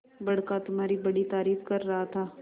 बड़का तुम्हारी बड़ी तारीफ कर रहा था